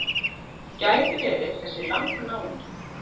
Gæti verið þessi Lang-náungi.